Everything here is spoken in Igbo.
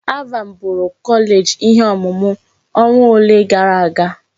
ALVAN bụụrụ kọleeji ihe ọmụmụ ọnwa ole gara aga.